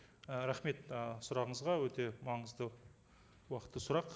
і рахмет ы сұрағыңызға өте маңызды уақытты сұрақ